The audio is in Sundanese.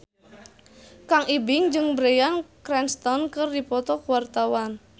Kang Ibing jeung Bryan Cranston keur dipoto ku wartawan